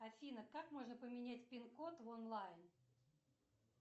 афина как можно поменять пин код в онлайн